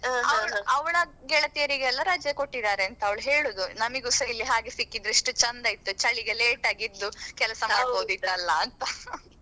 ಅವಳ ಗೆಳತಿಯರಿಗೆಲ್ಲಾ ರಜೆ ಕೊಟ್ಟಿದ್ದಾರೆ ಅಂತ ಅವ್ಳು ಹೇಳುದು ನಮಿಗುಸಾ ಇಲ್ಲಿ ಹಾಗೆ ಸಿಕ್ಕಿದ್ರೆ ಎಷ್ಟು ಚಂದ ಇತ್ತು ಚಳಿಗೆ late ಎದ್ದು ಕೆಲ್ಸ ಮಾಡ್ಬಹುದಿತಲ್ಲಾ ಅಂತ.